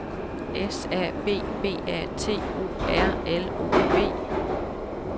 S A B B A T O R L O V